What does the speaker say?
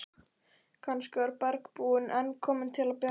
Kannski var bergbúinn enn kominn til að bjarga henni.